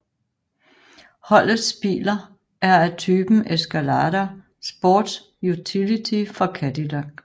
Holdets biler er af typen Escalade sports utility fra Cadillac